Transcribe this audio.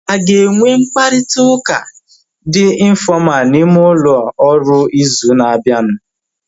Ha aga enwe mkparịta ụka dị infọmalu n'ime ụlọ ọrụ ịzụ na abianu